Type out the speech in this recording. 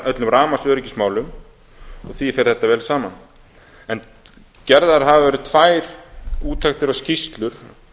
öllum rafmagnsöryggismálum og því fer þetta vel saman gerðar hafa verið tvær úttektir og skýrslur